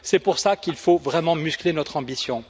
C'est pour cela qu'il faut vraiment muscler notre ambition.